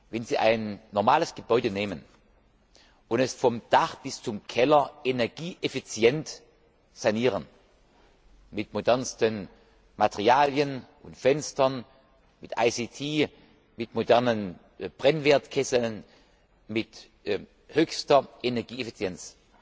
Wenn Sie ein normales Gebäude nehmen und es vom Dach bis zum Keller energieeffizient sanieren mit modernsten Materialen und Fenstern, mit ICT, mit modernen Brennwertkesseln mit höchster Energieeffizienz